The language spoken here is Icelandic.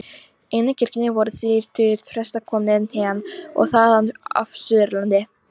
Inni í kirkjunni voru þrír tugir presta, komnir héðan og þaðan af Suðurlandi.